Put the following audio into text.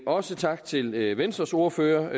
også tak til venstres ordfører